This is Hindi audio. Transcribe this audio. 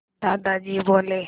दादाजी बोले